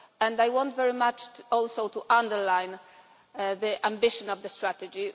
I want very much also to underline the ambition of the strategy.